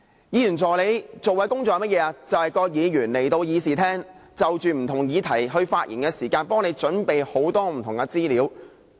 議員助理所做的工作是甚麼，就是議員在議事廳內就不同議題發言時，替議員準備很多不同的資料。